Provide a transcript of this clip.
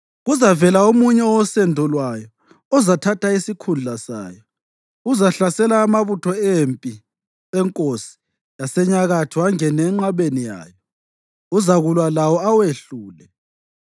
Kuzavela omunye owosendo lwayo ozathatha isikhundla sayo. Uzahlasela amabutho empi enkosi yaseNyakatho angene enqabeni yayo; uzakulwa lawo awehlule.